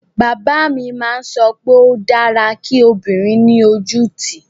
Bàbá mi má ń sọ pé ó dára kí ọmọbìnrin ní ojú ú tì